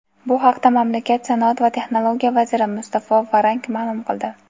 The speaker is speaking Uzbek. Bu haqda mamlakat Sanoat va texnologiya vaziri Mustafo Varank ma’lum qildi.